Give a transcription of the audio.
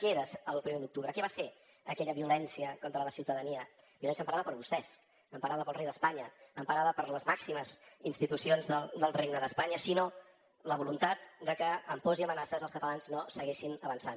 què era el primer d’octubre què va ser aquella violència contra la ciutadania violència emparada per vostès emparada pel rei d’espanya emparada per les màximes institucions del regne d’espanya sinó la voluntat de que amb pors i amenaces els catalans no segueixin avançant